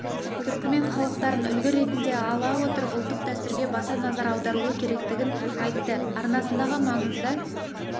түркімен халықтарын үлгі ретінде ала отырып ұлттық дәстүрге баса назар аударылуы керектігін айтты арнасындағы маңызды